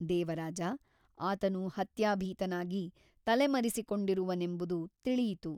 ದೇವರಾಜ ಆತನು ಹತ್ಯಾಭೀತನಾಗಿ ತಲೆಮರೆಸಿಕೊಂಡಿರುವನೆಂಬುದು ತಿಳಿಯಿತು.